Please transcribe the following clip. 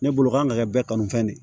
Ne bolo kan ka kɛ bɛɛ kanu fɛn de ye